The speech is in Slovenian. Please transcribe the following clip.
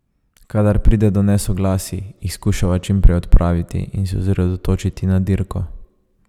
Kadar pride do nesoglasij, jih skušava čim prej odpraviti in se osredotočiti na dirko.